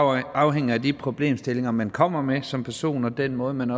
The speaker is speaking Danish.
afhænger af de problemstillinger man kommer med som person og af den måde man